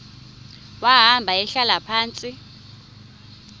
wahamba ehlala phantsi